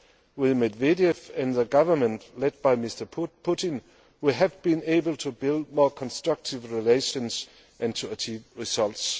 With Medvedev and the government led by Mr Putin, we have been able to build more constructive relations and to achieve results.